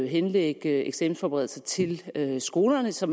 henlægge eksamensforberedelser til skolerne så